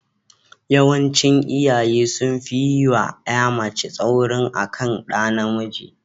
Yawancin iyaye sun fi yi wa ƴa mace tsauri akan ɗa namiji.